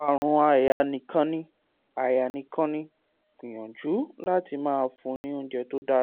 àrùn àyà nìkan ni; àyà nìkan ni; gbìyànjú láti máa fun ni oúnjẹ tó dára